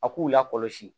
A k'u lakɔlɔsi